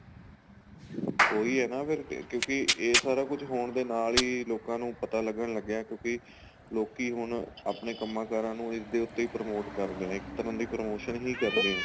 ਉਹੀ ਹੈ ਨਾ ਅਗਰ ਕੇ ਕਿਉਂਕਿ ਇਹ ਸਾਰਾ ਕੁੱਝ ਹੋਣ ਦੇ ਨਾਲ ਹੀ ਲੋਕਾਂ ਨੂੰ ਪਤਾ ਲੱਗਣ ਲੱਗਿਆ ਕਿਉਂਕਿ ਲੋਕੀ ਹੁਣ ਆਪਣੇ ਕੰਮਾ ਕਾਰਾਂ ਨੂੰ ਇਸ ਦੇ ਉੱਤੇ promote ਕਰਦੇ ਏ ਇੱਕ ਤਰ੍ਹਾਂ ਦੀ promotion ਵੀ ਕਰਦੇ ਏ